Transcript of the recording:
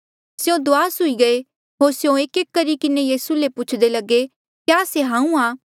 स्यों दुआस हुई गये होर स्यों एकएक करी किन्हें यीसू ले पूछदे लगे क्या से हांऊँ आं